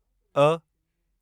अ